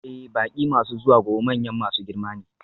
Ee, baƙi masu zuwa gobe manyan masu girma ne.